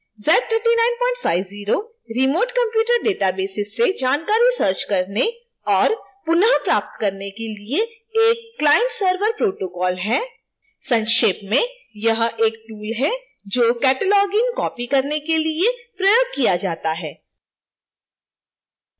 z3950 remote computer databases से जानकारी search करने और पुनः प्राप्त करने के लिए एक client–server protocol है